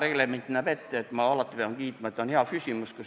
Reglement näeb ette, et alati peab kiitma, et oli hea küsimus.